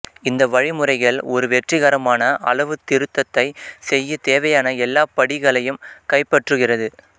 இந்த வழிமுறைகள் ஒரு வெற்றிகரமான அளவுத்திருத்தத்தைச் செய்ய தேவையான எல்லா படிகளையும் கைப்பற்றுகிறது